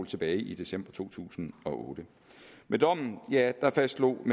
tilbage i december to tusind og otte med dommen fastslog